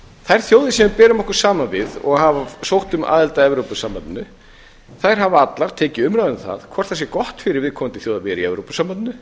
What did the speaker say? þær þjóðir sem við berum okkur saman við og hafa sótt um aðild að evrópusambandinu hafa allar tekið umræðu um það hvort það sé gott fyrir viðkomnadi þjóð að vera í evrópusambandinu